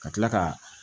Ka tila ka